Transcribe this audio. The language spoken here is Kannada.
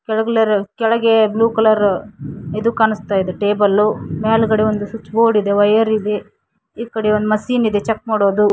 ಕೆಳಗಲ್ಲರು ಕೆಳಗೆ ಬ್ಲೂ ಕಲರ್ ಇದು ಕಾಣಿಸ್ತಾ ಇದೆ ಟೇಬಲ್ ಮೇಲ್ಗಡೆ ಒಂದು ಸ್ವಿಚ್ ಬೋರ್ಡ್ ಇದೆ ವೈಯರ್ ಇದೆ ಈ ಕಡೆ ಒಂದು ಮಷೀನ್ ಇದೆ ಚೆಕ್ ಮಾಡೋದು.